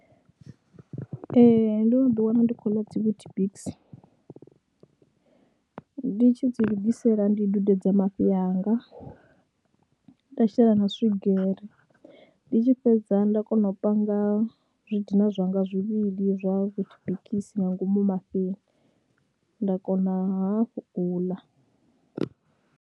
Ee ndo no ḓiwana ndi khou ḽa dzi WeetBix, ndi tshi dzi lugisela ndi dudedza mafhi anga, nda shela na swigiri, ndi tshi fhedza nda kona u panga zwi dina zwanga zwivhili zwa WeetBix nga ngomu mafhini nda kona hafhu u ḽa.